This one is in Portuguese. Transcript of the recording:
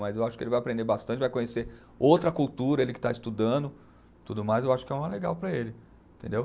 Mas eu acho que ele vai aprender bastante, vai conhecer outra cultura, ele que está estudando, tudo mais, eu acho que é uma legal para ele, entendeu?